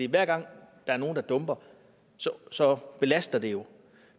hver gang der er nogen der dumper så belaster det jo